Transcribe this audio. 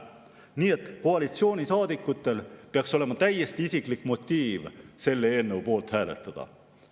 Nii et koalitsioonisaadikutel peaks olema täiesti isiklik motiiv selle eelnõu poolt hääletada.